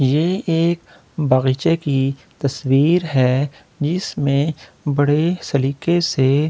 ये एक बगीचे की तस्‍वीर है जिसमें बड़े सलीके से रहा--